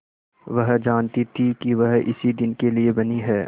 वह जानती थी कि वह इसी दिन के लिए बनी है